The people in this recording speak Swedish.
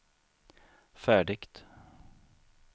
färdigt